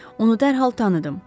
Onu dərhal tanıdım.